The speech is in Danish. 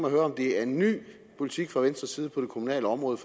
at høre om det er en ny politik fra venstre side på det kommunale område